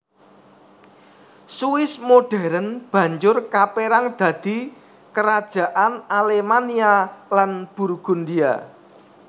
Swiss modern banjur kaperang dadi Kerajaan Alemannia lan Burgundia